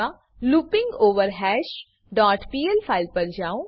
મા looping over hash dot PL file પર જાઉં